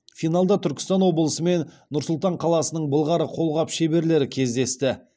финалда түркістан облысы мен нұр сұлтан қаласының былғары қолғап шеберлері кездесті